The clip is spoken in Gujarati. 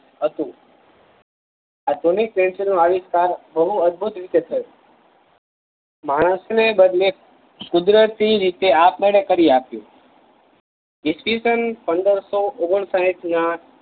હતું આ જૂની પેન્સિલ નો આવિષ્કાર બહુ અદ્ભુત રીતે થય માણસને બદલે કુદરતી રીતે આપ મેળે કરીયા પીયો ઇસવીસનપંદરસો ઓગણ સાહીઠ માં